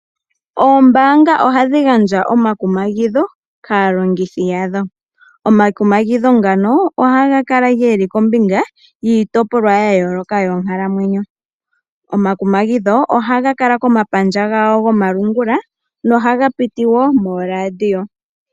Oombaanga ohadhi gandja omakumagidho kaalongithi yadho, omakumagidho ngano ohaga kala geli kombinga yiitopolwa ya yooloka yonkalamwenyo, ohaga Kala nee komapandja gawo gomalungula oshowo okupitithwa mooRadio.